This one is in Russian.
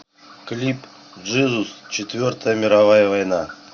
клип джизус четвертая мировая война